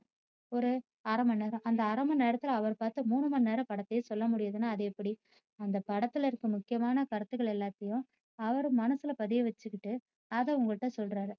ஒரு அரைமணி நேரம் அந்த அரைமணி நேரத்துல அவரு பார்த்த மூணு மணி நேர படத்தையே சொல்ல முடியுதுன்னா அது எப்படி அந்த படத்துல இருக்குற முக்கியமான கருத்துகள் எல்லாத்தையும் அவரு மனசுல பதிய வச்சுக்கிட்டு அதை உங்கள்ட்ட சொல்றாரு